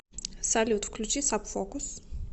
салют включи саб фокус